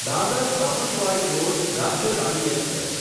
Dadar Sawantwadi road Rajya Rani express